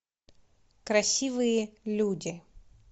красивые люди